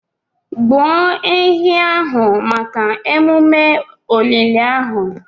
Gbuo ehi ahụ maka omume olili ahụ.